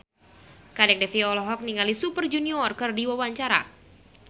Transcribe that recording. Kadek Devi olohok ningali Super Junior keur diwawancara